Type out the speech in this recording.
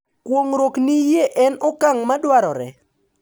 Kuong’ruok ni yie en okang’ ma dwarore